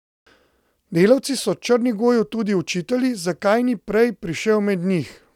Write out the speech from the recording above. Delavci so Črnigoju tudi očitali, zakaj ni prej prišel med njih.